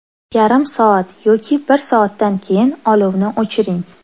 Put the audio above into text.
Yarim soat yoki bir soatdan keyin olovni o‘chiring.